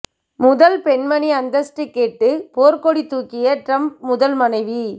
முதல் பெண்மணி அந்தஸ்து கேட்டு போர்க்கொடி தூக்கிய டிரம்ப் முதல் மனைவி